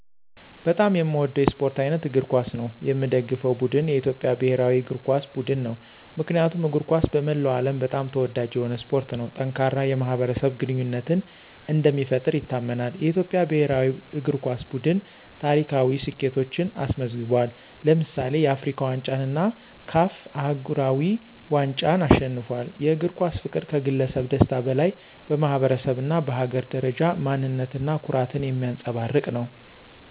በጣም የሚወደው የስፖርት አይነት እግር ኳስ ነው። የሚደገፈው ቡድን የኢትዮጵያ ብሔራዊ እግር ኳስ ቡድን ነው። ምክንያቱም እግር ኳስ በመላው ዓለም በጣም ተወዳጅ የሆነ ስፖርት ነው። ጠንካራ የማኅበረሰብ ግንኙነትን እንደሚፈጥር ይታመናል። የኢትዮጵያ ብሔራዊ እግር ኳስ ቡድን ታሪካዊ ስኬቶችን አስመዝግቧል። ለምሳሌ፣ የአፍሪካ ዋንጫን እና CAF አህጉራዊ ዋንጫን አሸንፏል። የእግር ኳስ ፍቅር ከግለሰብ ደስታ በላይ በማኅበረሰብ እና በሀገር ደረጃ ማንነት እና ኩራትን የሚያንፀባርቅ ነው።